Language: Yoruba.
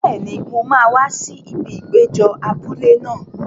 Bẹ́ẹ̀ni, mo máa wá sí ibi ìpéjọ abúlé náà.